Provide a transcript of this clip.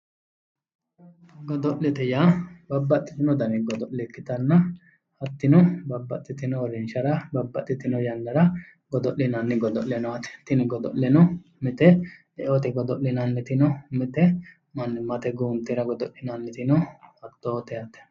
Godo'lete yaa babbaxxitino godo'le ikkitanna hattino babbaxxtino basera babbaxxitino uurrinshara godo'linanni godo'le no yaate, tini godo'leno mite eote godo'linanniti no mite mannimmate guuntera godo'linanniti no hattoote yaate